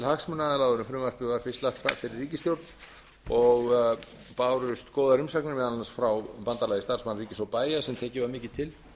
hagsmunaaðila áður en frumvarpið var fyrst lagt fyrir ríkisstjórn og bárust góðar umsagnir meðal annars frá bandalagi starfsmanna ríkis og bæja sem tekið var mikið tillit til